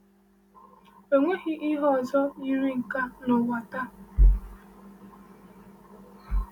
Enweghị ihe ọzọ yiri nke a n’ụwa taa.